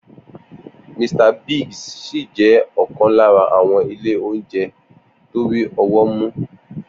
Mr. Biggs ṣì jẹ́ ọ̀kan lára àwọn ilé oúnjẹ tó rí ọwọ́ mú.